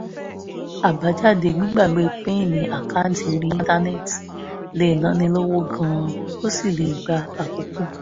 àbájáde gbígbàgbé pin àkáǹtì orí íńtánẹ́ẹ̀tì lè náni lówó gan-an ó sì lè gba àkókò